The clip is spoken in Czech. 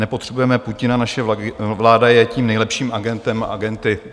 Nepotřebujeme Putina, naše vláda je tím nejlepší agentem, agenty.